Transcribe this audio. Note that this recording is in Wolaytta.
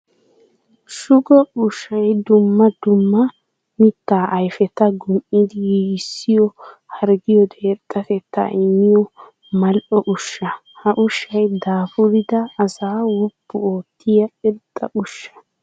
Shugo ushay dumma dumma mitta ayfeta gum'iddi giigissiyo harggiyoode irxxatetta immiya mali'o usha. Ha ushay daafuridda asaa woppu ootiya irxxa usha.